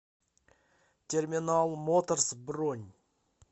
терминал моторс бронь